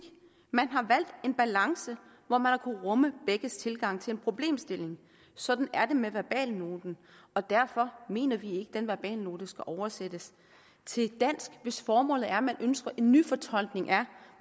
man har valgt en balance hvor man har kunnet rumme begges tilgang til en problemstilling sådan er det med verbalnoten og derfor mener vi ikke at den verbalnote skal oversættes til dansk hvis formålet er at man ønsker en nyfortolkning af